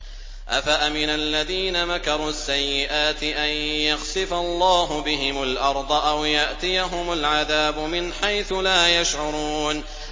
أَفَأَمِنَ الَّذِينَ مَكَرُوا السَّيِّئَاتِ أَن يَخْسِفَ اللَّهُ بِهِمُ الْأَرْضَ أَوْ يَأْتِيَهُمُ الْعَذَابُ مِنْ حَيْثُ لَا يَشْعُرُونَ